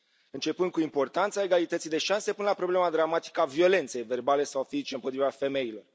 Începând cu importanța egalității de șanse până la problema dramatică a violenței verbale sau fizice împotriva femeilor.